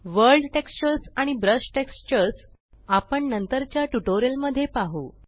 world textures आणि brush textures आपण नंतरच्या ट्यूटोरियल मध्ये पाहु